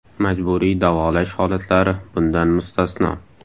Majburiy davolash holatlari bundan mustasno.